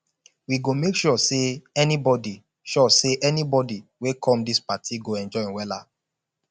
we go make sure sey anybodi sure sey anybodi wey come dis party go enjoy wella